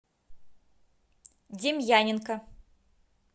демьяненко